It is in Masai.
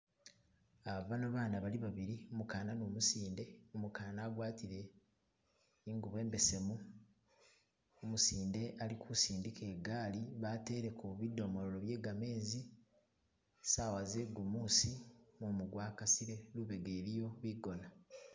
bano bana bali babili umukana ni umusinde umukana agwatile ingubo imbesemu umusinde ali kusindika igaali bateleko budomolo bye gamezi sawa zegumusi mumu gwakasile lubega iliyo bigona.